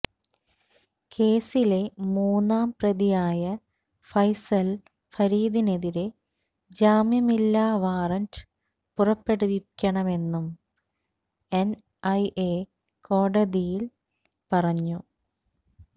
കേസിലെ മൂന്നാം പ്രതിയായ ഫൈസല് ഫരീദിനെതിരെ ജാമ്യമില്ലാ വാറണ്ട് പുറപ്പെടുവിക്കണമെന്നും എന് ഐ എ കോടതിയില് പറഞ്ഞു